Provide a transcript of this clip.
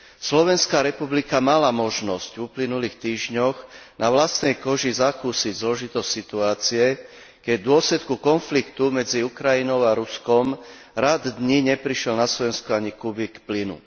Slovenská republika mala možnosť v uplynulých týždňoch na vlastnej koži zakúsiť zložitosť situácie, keď v dôsledku konfliktu medzi Ukrajinou a Ruskom rad dní neprišiel na Slovensko ani kubík plynu.